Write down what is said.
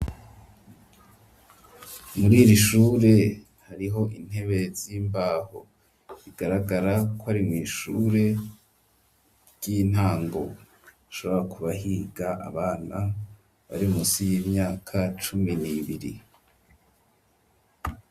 Muriri shure hariho intebe z'imbaho bigaragara kwari mw'ishure ry'intango hashobora ku bahiga abana bari munsi y'imyaka cumi n'ibiri.